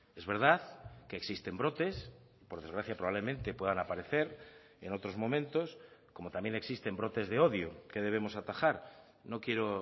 es verdad que existen brotes por desgracia probablemente puedan aparecer en otros momentos como también existen brotes de odio que debemos atajar no quiero